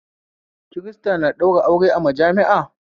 Kirista na ɗaura aure a majami'a